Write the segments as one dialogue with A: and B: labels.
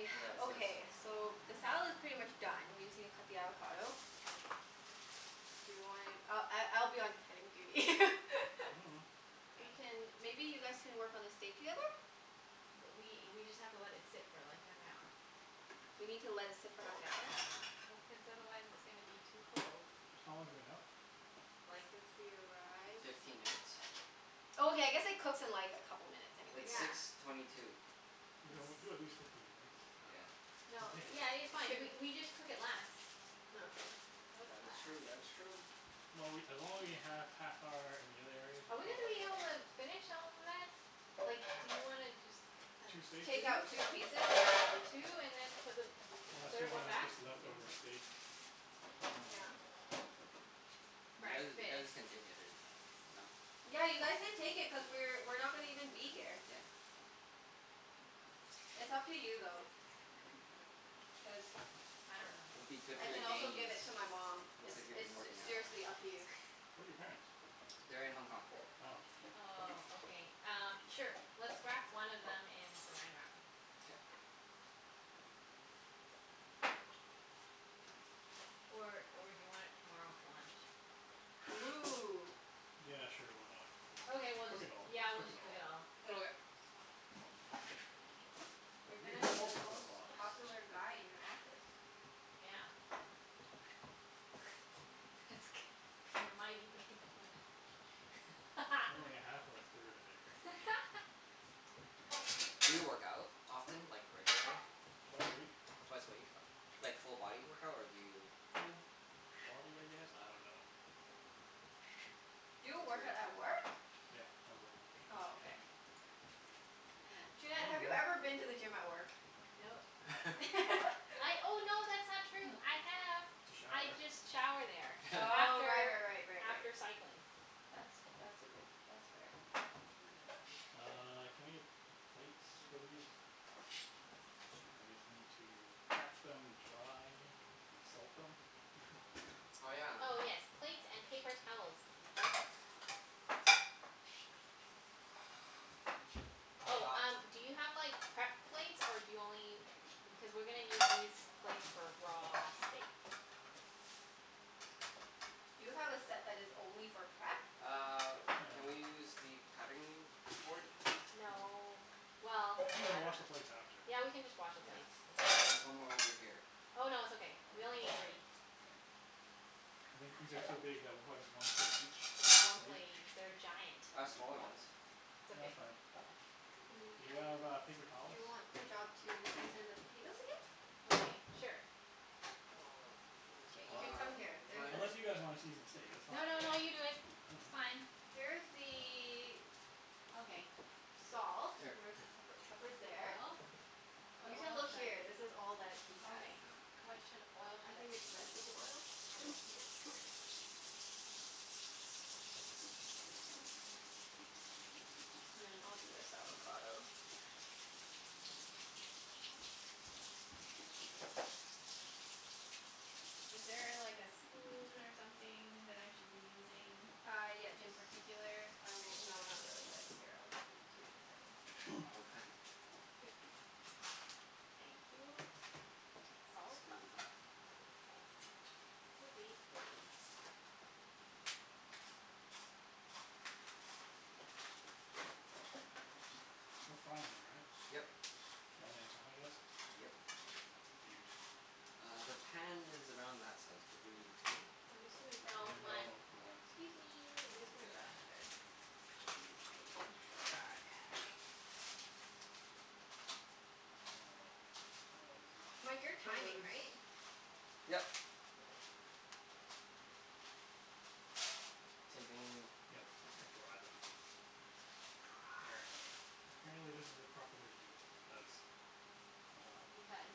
A: Okay. Is this
B: Okay, so the salad's pretty much done, we just need to cut the avocado. Do you wanna, I I I'll be on cutting duty.
C: Mm.
B: Who
D: Okay.
B: can, maybe you guys can work on the steak together?
D: Th- we we just have to let it sit for like, half an hour.
B: We need to let it sit for half an hour.
D: Well, cuz otherwise it's gonna be too cold.
C: How long has it been out?
D: Like
B: Since we arrived.
A: Fifteen minutes.
B: Oh, okay,
C: Oh.
B: I guess it cooks in like a couple minutes anyways,
A: It's
B: so
A: six
D: Yeah.
B: it's
A: twenty two.
C: Okay, well
D: It's
C: do at least fifteen minutes. I
A: Yeah.
C: dunno. Then
D: No,
C: take it
D: yeah, it's
C: out.
B: It
D: fine. We
B: shouldn't
D: we just cook it less.
B: Oh okay.
D: Cook
A: That is
D: less.
A: true. That is true.
C: Well, we, as long as we have half hour in the other areas
D: Are
C: we're
D: we
C: fine,
D: gonna be
C: right?
D: able to finish all of that? Like, do you wanna just have
C: Two steaks?
B: Take out
D: two?
B: two pieces? Yeah.
D: Two, and then put the
C: Unless we
D: third one
C: wanna
D: back?
C: just leftover steak. I dunno.
B: Yeah.
A: You guys, you guys
D: Breakfast.
A: can take it if, you know?
B: Yeah, you guys can take it cuz we're we're not gonna even be here.
A: Yeah.
B: It's up to you though. Cuz
D: I don't know.
A: It'll be good
B: I
A: for your
B: can also give
A: gains.
B: it to my mom.
A: Looks
B: It's
A: like you've been
B: it's s-
A: working out.
B: seriously up to you.
C: Where are your parents?
A: They're in Hong Kong.
C: Oh.
A: Yeah.
D: Oh, okay. Um, sure. Let's wrap one of them in Saran Wrap.
A: K.
D: Or or do you want it tomorrow for lunch?
B: Ooh.
C: Yeah, sure. Why not? Just
D: Okay, we'll
C: cook
D: just,
C: it all.
D: yeah, we'll
C: Cook it
D: just cook
C: all.
D: it all.
A: Okay.
C: Oh
B: You're
C: you
B: gonna
C: ha-
B: be the
C: also have a
B: most
C: box.
B: popular guy in your office.
D: Yeah. That's gonna be a mighty big lunch.
C: Only a half or a third of it.
A: Do you work out often? Like, regularly?
C: Twice a week.
A: Twice a week? U- like full body workout, or do you
C: Full body, I guess? I don't know.
B: Do
A: He's
B: you work out
A: very
B: at
A: toned.
B: work?
C: Yeah, at work.
B: Oh, okay. Junette, have you ever
C: Mm.
B: been to the gym at work?
D: Nope. I, oh no, that's not true. I have.
C: To shower.
D: I just shower there
B: Oh, right
D: after
B: right right right right.
D: after cycling.
B: That's that's a good, that's fair.
C: Uh, can I get p- plates for these?
A: Yeah, su-
C: I guess we need to pat them dry. And salt them?
A: Oh yeah.
D: Oh yes, plates and paper towels please.
C: Which
A: I've
D: Oh,
C: one?
A: got
D: um do you have like, prep plates? Or do you only u- cuz we're gonna need these plates for raw steak.
B: Do you have a set that is only for prep?
A: Uh,
C: No.
A: can we use the cutting board?
D: No. Well,
C: We can
D: I don't
C: wash
D: know.
C: the plates after.
D: Yeah, we can just wash the
A: Yeah.
D: plates. It's
A: There's one more over here.
D: Oh no, it's okay.
A: Okay,
D: We only
A: that's
D: need
A: all?
D: three.
A: K.
C: I think these are so big that we'll probably just one steak
D: There's
C: each
D: one
C: plate?
D: plate each. They're giant.
A: I
C: Yeah.
A: have smaller ones.
D: It's
C: No, that's
D: okay.
C: fine. Do you
B: Mm,
C: have uh, paper
B: do
C: towels?
B: you want the job to season the potatoes again?
D: Okay, sure.
B: K, you
C: Well
B: can come here. There, this is
A: Where's my
C: Unless you
B: the
C: guys wanna season the steak. That's fine.
D: No no no, you do it.
C: I
D: It's
C: dunno.
D: fine.
B: Here's
C: I dunno.
B: the
D: Okay.
B: salt.
A: Here.
B: Where's the pepper? Pepper's
D: First the
B: there.
D: oil. But
B: You can
D: oil
B: look here. This is all that he has.
D: Okay. What should, oil
B: I
D: should
B: think
D: I
B: it's vegetable oil.
D: Okay.
B: Peanut. And then I'll do this avocado.
D: Is there a like a spoon or something that I should be using?
B: Uh, yeah.
D: In
B: Jus-
D: particular?
B: I will, no, not really but here, I'll give it to you in a second.
D: Okay.
A: I will cut it.
B: Here.
D: Thank you. Salt?
A: Scusi.
D: Scusi, scusi.
C: We're frying them, right?
A: Yep.
C: One at a time, I guess?
A: Yep.
C: They're huge.
A: Uh, the pan is around that size. Could you two?
B: I'm just gonna grab
D: No,
B: another
D: one.
C: No,
A: Okay.
C: one.
B: Excuse me. I'm just
A: Sounds
B: gonna
A: good.
B: grab another spoon.
A: Die.
C: Uh, I might as well just use my
B: Mike, you're
C: hands
B: timing,
C: because
B: right?
A: Yep.
B: Okay.
A: Same thing?
C: Yep,
A: E- okay.
C: to dry them. Apparently
A: Dry.
C: apparently this is the proper way to do it because um
D: Because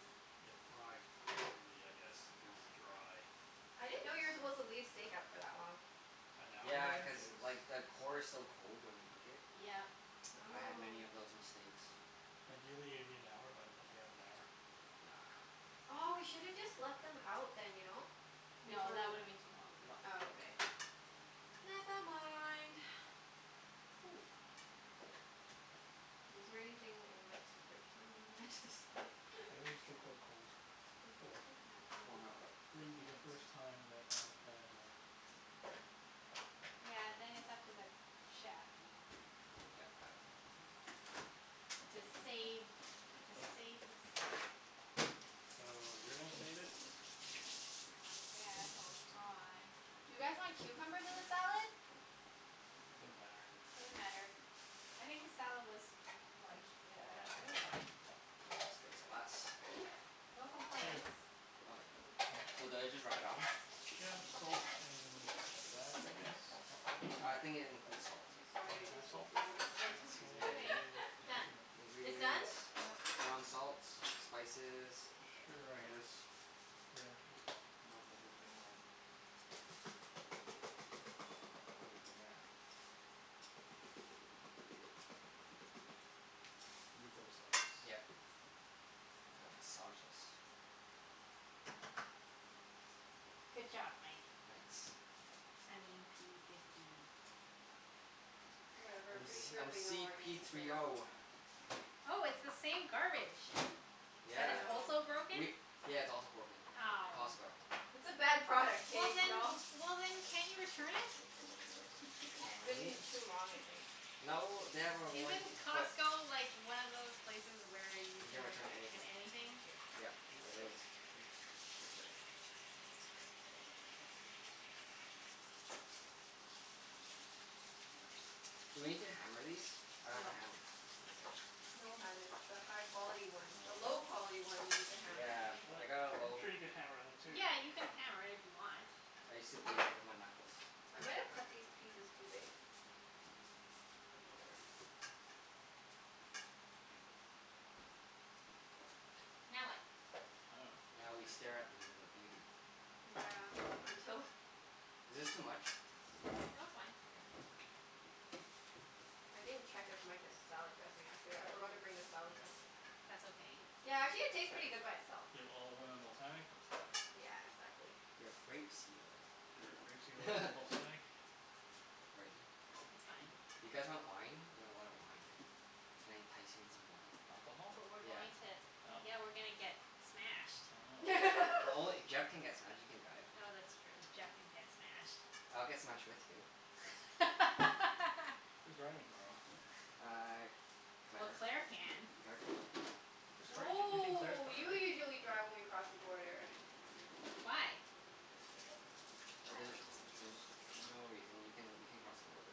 C: it fries properly, I guess, if it's
A: Oh.
C: dry.
B: I
A: I
B: didn't know you were supposed
A: see.
B: to leave steak out for that long.
C: An hour
A: Yeah, cuz like the core is so cold when you cook it.
D: Yep.
A: I had many
B: Oh.
A: of those mistakes.
C: Ideally it'd be an hour, but I don't know if we have an hour, so
A: Nah.
B: Aw, we
A: No.
B: should have just left them out then, you know?
D: No,
B: Before
D: that
B: w-
D: would've been too long.
A: No.
B: Oh, okay. Never mind.
D: Ooh.
B: Is there anything in Mike's fridge that we wanna add to the salad?
C: Yeah, these are still quite cold.
B: Does
C: Oh
B: he
C: well.
B: even have
A: Warm
B: any
A: it up with
C: Wouldn't
A: my
C: be the first
A: hands.
C: time that I had a
D: Yeah, then it's up to the chef.
C: Sure,
A: Yep. Got it.
C: oh okay.
D: To save
C: Uh
D: to save the steak.
C: So, you're gonna save it?
D: I guess I'll try.
B: Do you guys want cucumbers in the salad?
C: Doesn't matter.
D: Doesn't matter. I think the salad was like,
C: Looks
D: i- I do- it was
C: fine.
D: fine.
A: Where's your steak spice?
D: No
C: Here.
D: complaints.
A: Okay.
B: Oh, okay.
C: Mm.
A: So do I just rub it on?
C: Yeah, coat in that I guess?
A: I think it includes salt.
C: Does
B: Sorry,
C: it
B: I just
C: have
B: need
C: salt
B: to
C: in
B: do
C: it?
B: this, that's why.
D: Anyway,
A: Seasoning.
C: Say
D: done.
C: It's in it.
B: It's done?
A: Ingredients.
D: Yep.
A: Ground salt. Spices.
B: Mm, k.
C: Sure, I
A: Peppers.
C: guess. Yeah, just rub the whole thing on.
A: Oh yeah.
C: And do both sides.
A: Yep.
C: I don't know.
A: Gotta massage this.
D: Good job, Mike.
A: Thanks.
D: I mean p fifty.
B: Whatever.
A: I'm
C: P
B: Pretty
A: s-
C: Diddy.
B: sure
A: I'm
B: they know
A: c
B: our
A: p
B: names
A: three
B: now.
A: o.
D: Oh, it's the same garbage.
B: I
D: That
A: Yeah.
D: is
B: know.
D: also broken.
A: We, yeah, it's also broken.
D: Ow.
A: Costco.
B: It's a bad product,
D: Well
B: k? We
D: then,
B: all
D: well then can't you return it?
A: Can
B: Been
A: we?
B: too long, I think.
A: No, they have a
D: Isn't
A: warranty but
D: Costco like, one of those places where you
A: You can
D: can ret-
A: return
D: in
A: anything.
D: anything?
A: Yep,
C: Do you use
A: it
C: soap?
A: is.
C: I use soap.
A: Do we need to hammer these? I have a
D: No.
A: hammer. Okay.
B: No hun, it's the high quality one. The low
A: Oh.
B: quality one you need to hammer.
A: Yeah.
C: What?
A: I got a
C: I'm
A: low
C: sure you could hammer them too.
D: Yeah, you can hammer it if you want.
A: I used to beat it with my knuckles.
B: I might've cut these pieces too big. Oh, whatever.
D: That's okay. Now what?
C: I dunno.
A: Now we stare at them in their beauty.
B: Yeah, until
A: Is this too much?
D: No, it's fine.
A: Okay. Cool.
B: I didn't check if Mike has salad dressing, actually. I forgot to bring the salad dressing.
D: That's okay.
B: Yeah, actually it tastes pretty good by itself.
C: You have olive oil and balsamic? That's enough.
B: Yeah, exactly.
A: We have grape seed oil.
C: Sure. Grape seed oil and balsamic.
A: Where is it? I'm not
D: It's fine.
A: sure. You guys want wine? We have a lot of wine. Can I entice you in some wine?
C: Alcohol?
D: But we're
A: Yeah.
D: going to
C: Oh.
D: Yeah, we're gonna get smashed.
C: Oh no.
A: No only, Jeff can get smashed. You can drive.
D: Oh, that's true. Jeff can get smashed.
A: I'll get smashed with you.
C: Who's driving tomorrow?
A: Uh,
D: Well,
A: Claire.
D: Claire can.
A: Claire can.
C: Whose car are you taki- you're taking Claire's
B: No,
C: car,
B: you
C: right?
B: usually
A: Yeah.
B: drive when we cross the border.
D: Why?
B: I don't
A: The-
B: know.
A: there's no reason. You can you can cross the border.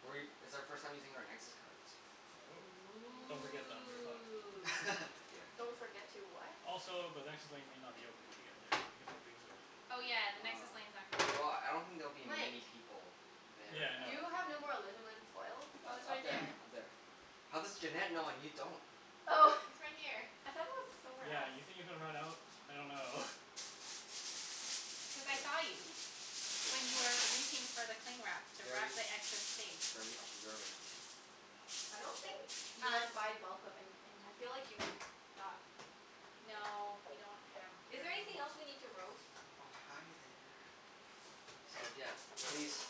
A: We, it's our first time using our Nexus cards.
C: Oh. Don't forget them,
B: Yeah.
C: you're fucked.
D: Ooh.
A: Yeah.
B: Don't forget to what?
C: Also, the Nexus lane may not be open when you get there because you're leaving so early.
D: Oh yeah, the Nexus
A: Ah.
D: lane's not gonna be
A: Well,
D: open.
A: I don't think there'll be
B: Mike.
A: many people there
C: Yeah,
A: at
B: Do
C: no.
B: you
A: that time.
B: have no more alunamin foil?
D: Oh, it's
A: U- up
D: right
A: there.
D: there.
A: Up there. How does Junette know and you don't?
B: Oh!
D: It's right here.
B: I thought it was somewhere
C: Yeah,
B: else.
C: you think you're gonna run out? I dunno.
D: Because I
C: S-
D: saw you.
A: I see.
D: When you were reaching for the cling wrap to wrap
A: Very
D: the excess steak.
A: very observant.
B: I don't think you guys
D: Um
B: buy bulk of anything. I feel like you would not.
D: No, we don't have
B: Is there
D: room.
B: anything else we need to roast?
A: Oh, hi there. So yeah, please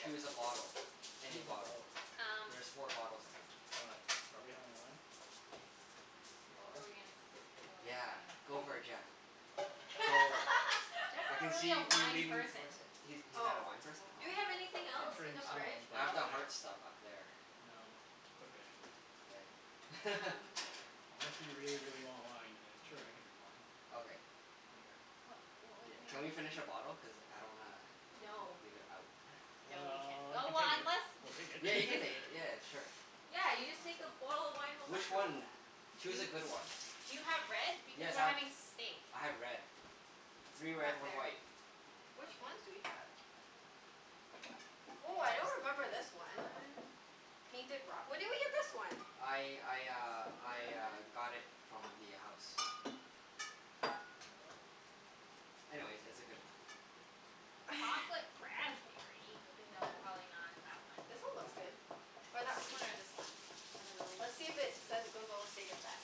A: choose a bottle. Any
C: Choose a
A: bottle.
C: bottle.
D: Um
A: There's four bottles, I think.
C: Why? Are we having wine? We
D: What
C: are?
D: were we gonna s- what was I
A: Yeah, go for it
D: gonna say?
A: Jeff.
C: Oh.
A: Go.
D: Jeff's
A: I
D: not
A: can
D: really a
A: see you
D: wine
A: leaning
D: person.
A: towards it. He's he's not a
B: Oh.
A: wine person?
B: Do we
A: Oh.
B: have anything
C: I
B: else in
C: drink
B: the
A: I
B: fridge,
C: some,
A: I have
B: though?
C: but
A: the
C: like
A: hard stuff up there.
C: No, it's okay.
A: K.
D: Um
C: Unless you really, really want wine, then sure, I can drink wine.
A: Okay.
C: I don't care.
D: What what was
A: Yeah, can we
D: I
A: finish a bottle? Cuz I don't wanna
D: No.
A: leave it out.
D: No, we can't.
C: Well,
D: Oh,
C: we can
D: well
C: take it.
D: unless
C: We'll take
A: Yeah, you can
C: it.
A: take it. Yeah, sure.
B: Yeah, you just
D: Oh.
B: take the bottle of wine home
A: Which
B: afterwards.
A: one?
D: Do
A: Choose
D: you
A: a good one.
D: Do you have red? Because
A: Yes,
D: we're
A: I've,
D: having steak.
A: I have red. Three red,
B: Back
A: one
B: there.
A: white.
B: Which ones
D: Okay.
B: do we have? Woah, I don't remember this one. Painted Rock? When did we get this one?
A: I I uh
D: This
A: I uh
D: one.
A: got it from the house. Anyways, it's a good one.
D: Chocolate raspberry? No,
B: Yeah.
D: probably not that one.
B: This one looks good. Or that one.
D: This one or this one?
B: I dunno. Let's see if it says it goes well with steak at the back.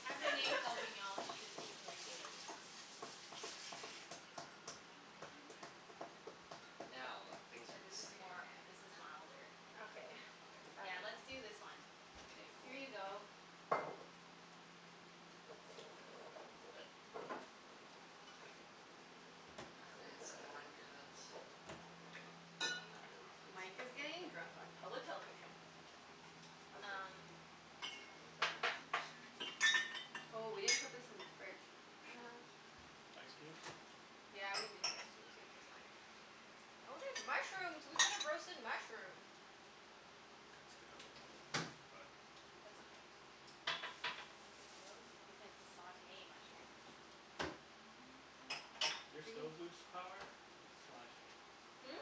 D: Cabernet Sauvignon should be pretty good.
A: Now, things are
D: Yeah, this is
A: exciting.
D: more, this is milder, I think.
B: Okay. I
D: Yeah, let's
B: dunno.
D: do this one.
A: Okay. K, cool.
D: Here you go.
C: Okay.
A: My fancy wine cups. Oh, not really fancy
B: Mike is
A: really.
B: getting drunk on public television. How great.
D: Um
A: Oh, they're better cups.
B: Oh, we didn't put this in the fridge.
A: Shoot.
C: Ice cube?
B: Yeah, we needed ice c- cubes. That's fine. Oh, there's mushrooms. We could've roasted mushrooms.
C: Could still, but
D: That's okay.
B: Tomatoes.
D: You can sauté mushrooms.
C: Your
B: We can
C: stove lose power? It's flashing.
B: Hmm?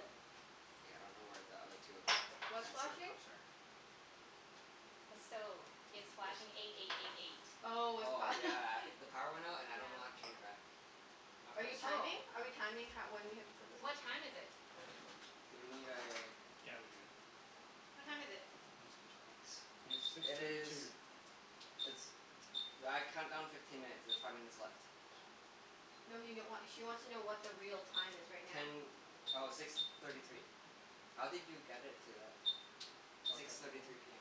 A: K, I don't know where the other two
B: What's
A: fancier
B: flashing?
A: cups are.
D: The stove. It's
A: This?
D: flashing eight eight eight eight.
B: Oh, it's
A: Oh,
B: pro-
A: yeah. The power went out and I don't know how to
B: Yeah.
A: change it back. I
B: Are you
A: press
B: timing?
D: Oh.
B: Are we timing ho- when we have to put this on?
D: What time is it?
A: Do we need a
C: Yeah, we do.
A: Cool.
D: What time is it?
C: Not a screw top.
A: Nice.
C: It's six
A: It
C: thirty two.
A: is it's, well, I count down fifteen minutes. There's five minutes left.
B: No he n- wa- she wants to know what the real time is right now.
A: Ten, oh, six thirty three. How did you get it to that?
C: Probably
A: Six
C: press and
A: thirty
C: hold?
A: three p m.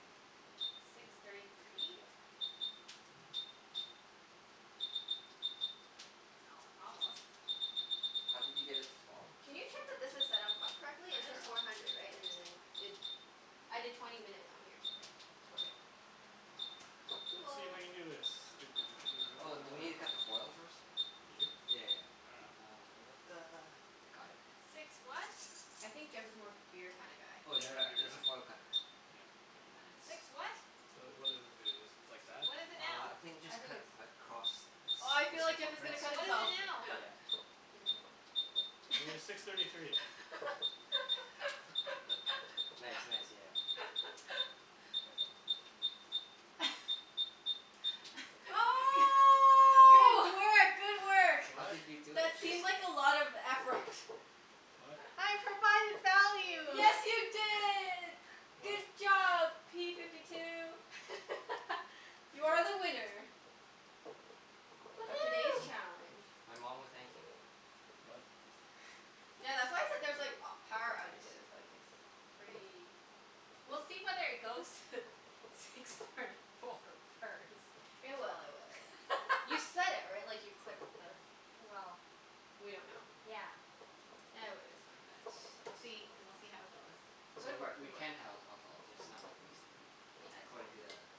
D: Six thirty three?
A: Yeah.
D: Oh, almost.
A: How did you get it to twelve?
B: Can you check that this is set up co-
D: I
B: correctly? It's just
D: dunno.
B: four hundred, right? And then I did, I did twenty minutes on here.
A: Yeah. Yeah. That's
B: Okay.
A: okay.
C: Let's see if
B: Cool.
C: I can do this. Doo doo doo doo doo.
A: Oh, do we need to cut the foil first?
C: Do you?
A: Yeah yeah yeah.
C: I dunno.
A: Ah da da da. I got it.
B: I think Jeff is more of a beer kinda guy.
A: Oh, is
C: Yeah,
A: there
C: I'm a
A: a,
C: beer
A: there's
C: guy.
A: a foil cutter.
C: Yeah.
A: Yeah, nice.
C: The, what does this do, just like that?
A: Uh, I think just
B: I think
A: cut
B: it's
A: across the
B: Oh, I
A: ci- the
B: feel like Jeff is
C: Oh,
B: gonna
A: circumference?
B: cut himself.
C: okay.
A: Yeah.
C: It was six
B: Yeah,
C: thirty three.
B: be
A: Nice,
B: careful.
A: nice. Yeah. There ya go. Careful.
B: G-
C: I don't know if I cut it right.
D: Oh!
B: good work! Good work!
A: How
C: What?
A: did you do it?
B: That
A: It
B: seemed
A: just
B: like a lot of effort.
C: What?
D: I provided value!
B: Yes, you did! Good
C: What?
B: job, p fifty two! You are the winner. Of today's
D: Woohoo!
B: challenge.
A: My mom will thank you.
C: What?
B: Tha- that's why I said there's like a- power
A: Nice.
B: outages, like it's pretty
D: We'll see whether it goes to six thirty four first.
B: It will, it will, it will. You set it, right? Like, you clicked the
D: Well
B: We don't know.
D: Yeah.
B: E- w- it's fine.
A: Nice,
D: We'll see,
A: nice.
D: we'll see how it goes.
A: So
B: Good
A: w-
B: work.
A: we
B: Good work.
A: can have alcohol, just not like, wasted, right?
B: Yeah, it's
A: According to
B: fine.
A: the